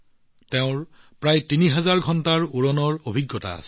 তেওঁৰ প্ৰায় ৩০০০ ঘণ্টাৰ উৰণৰ অভিজ্ঞতা আছে